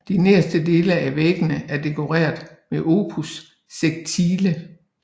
De nederste dele af væggene er dekoreret med opus sectile